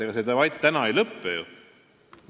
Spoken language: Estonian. Ega see debatt ju täna siin ei lõpe.